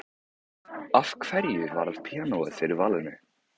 Af hverju varð píanóið fyrir valinu?